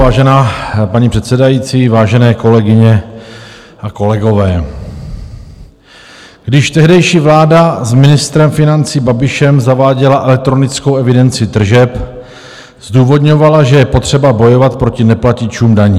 Vážená paní předsedající, vážené kolegyně a kolegové, když tehdejší vláda s ministrem financí Babišem zaváděla elektronickou evidenci tržeb, zdůvodňovala, že je potřeba bojovat proti neplatičům daní.